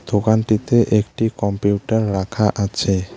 দোকানটিতে একটি কম্পিউটার রাখা আছে।